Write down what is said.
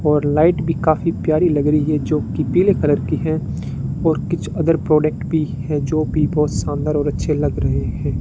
और लाइट भी काफी प्यारी लग रही है जोकि पीले कलर की है और कुछ अदर प्रॉडक्ट भी है जो भी बहोत शानदार और अच्छे लग रहे है।